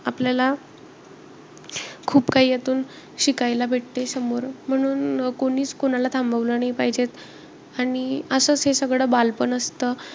आपल्याला खूप काही यातून शिकायला भेटते समोरून. म्हणून कोणीचं कोणाला थांबवलं नाही पाहिजेत. आणि असचं हे सगळं बालपण असतं.